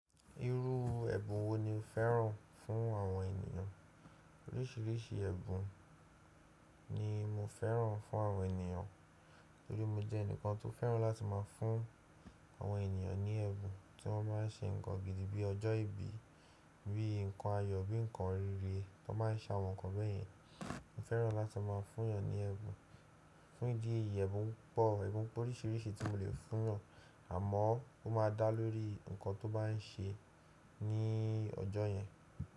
Irú ẹ̀bùn wo ni o fẹ́ràn fún àwọn ènìyàn? Oríṣìíríṣìí ẹ̀bùn ni mo fẹ́ràn fún àwọn ènìyàn torí mo jẹ́ ẹnìkan tó fẹ́ràn láti máa fún àwọn ènìyàn ní ẹ̀bùn tí wọ́n bá n ṣe nǹkan gidi bí ọjọ́ ìbí, bí nǹkan ayọ̀, bí nǹkan rere, wọ́n máa ń sa àwọn nǹkan bẹ́yẹn. Mo fẹ́ràn láti máa fún yàn ní ẹ̀bùn, fún ìdí èyí ẹ̀bùn pọ̀, ẹ̀bùn po oríṣìíríṣìí tí mo le fún wọn àmọ́ ó máa dá lóri ǹkan tó bá n ṣe ní ọjọ́ yẹn.